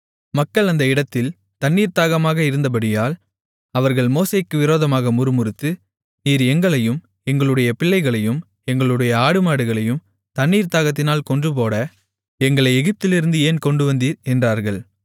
மக்கள் அந்த இடத்தில் தண்ணீர்த் தாகமாக இருந்தபடியால் அவர்கள் மோசேக்கு விரோதமாக முறுமுறுத்து நீர் எங்களையும் எங்களுடைய பிள்ளைகளையும் எங்களுடைய ஆடுமாடுகளையும் தண்ணீர்த் தாகத்தினால் கொன்றுபோட எங்களை எகிப்திலிருந்து ஏன் கொண்டுவந்தீர் என்றார்கள்